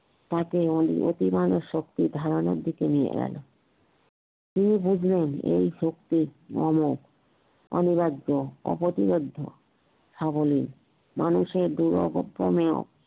তাকে অতিমানব শক্তির ধারনার দিকে নিয়ে গেল কে বুঝবে এই শক্তির মর্ম অনিবার্য অপ্রতিবদ্ধ সাবলীর মানুষের